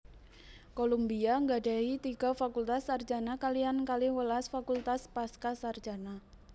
Columbia nggadhahi tiga fakultas sarjana kaliyan kalihwelas fakultas pascasarjana